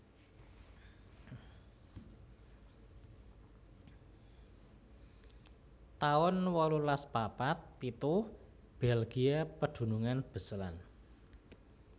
taun wolulas papat pitu Belgia pedunungan Beslan